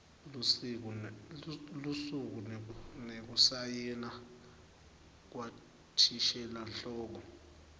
lusuku nekusayina kwathishelanhloko